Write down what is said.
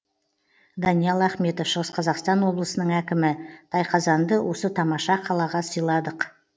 даниал ахметов шығыс қазақстан облысының әкімі тайқазанды осы тамаша қалаға сыйладық